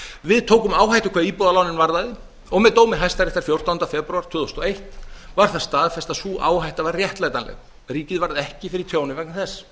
við tókum áhættu hvað íbúðalánin varðaði og með dómi hæstaréttar fjórtánda febrúar tvö þúsund og eitt var það staðfest að sú áhætta var réttlætanleg ríkið varð ekki fyrir tjóni vegna þess